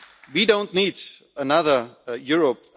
Union. We don't need another